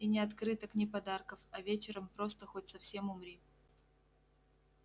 и ни открыток ни подарков а вечером просто хоть совсем умри